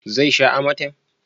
zai sha amatem?